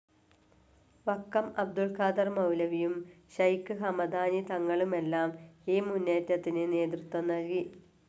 വക്കം അബ്ദുൽ ഖാദർ മൗലവിയും, ഷെയ്ഖ്‌ ഹമദാനി തങ്ങളുമെല്ലാം ഈ മുന്നേറ്റത്തിന് നേതൃത്വം നൽകി.